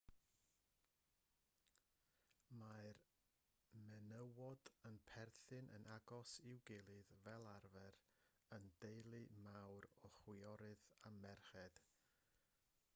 mae'r menywod yn perthyn yn agos i'w gilydd fel arfer yn deulu mawr o chwiorydd a merched